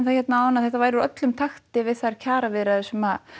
að þetta væri úr öllum takti við þær kjaraviðræður sem